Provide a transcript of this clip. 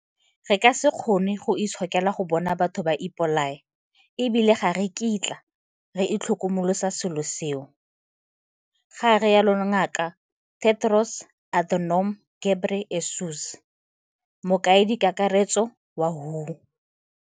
Re ka se kgone go itshokela go bona batho ba ipolaya e bile ga re kitla re itlhokomolosa selo seo, ga rialo Ngaka Tedros Adhanom Ghebrey esus, Mokaedikakaretso wa WHO.